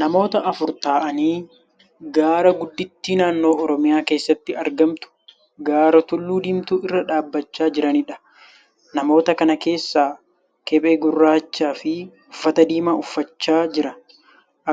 Nammota afur ta'aanii gaara gudditti naannoo Oromiyaa keessatti argamtu gaara tullu Diimtuu irra dhaabbachaa jiraniidha. Namoota kana keessaa tokko kephee gurraachaa fi uffata diimaa uffachaa jira.